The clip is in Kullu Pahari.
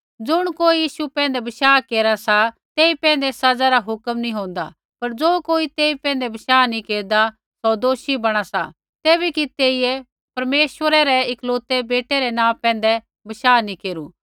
ज़ुण कोई यीशु पैंधै बशाह केरा सा तेई पैंधै सज़ा रा हुक्कम नैंई होन्दा पर ज़ो कोई तेई पैंधै बशाह नेंई केरदा सौ दोषी बणा सा तैबै कि तेइयै परमेश्वरै रै इकलौते बेटै रै नाँ पैंधै बशाह नैंई केरू